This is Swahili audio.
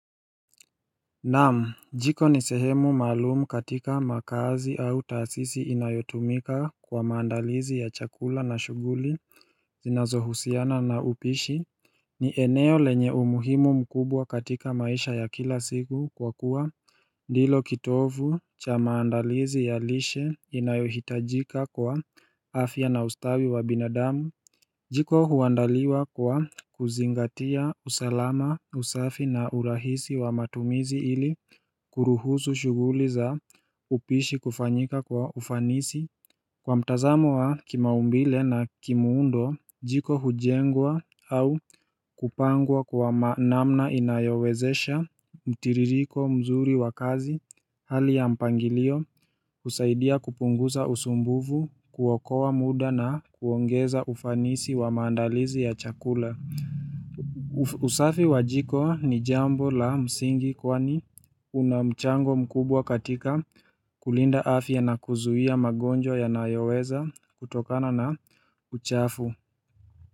Naam jiko nisehemu maalumu katika makazi au taasisi inayotumika kwa maandalizi ya chakula na shughuli zinazo husiana na upishi ni eneo lenye umuhimu mkubwa katika maisha ya kila siku kwa kuwa ndilo kitovu cha maandalizi ya lishe inayohitajika kwa afya na ustawi wa binadamu Jiko huandaliwa kwa kuzingatia usalama usafi na urahisi wa matumizi ili kuruhusu shughuli za upishi kufanyika kwa ufanisi Kwa mtazamo wa kimaumbile na kimuundo jiko hujengwa au kupangwa kwa namna inayowezesha mtiririko mzuri wa kazi hali ya mpangilio usaidia kupunguza usumbufu kuokoa muda na kuongeza ufanisi wa maandalizi ya chakula usafi wa jiko ni jambo la msingi kwani una mchango mkubwa katika kulinda afya nakuzuia magonjwa ya nayoweza kutokana na uchafu.